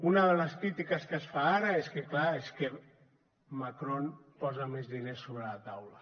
una de les crítiques que es fa ara és que clar és que macron posa més diners sobre la taula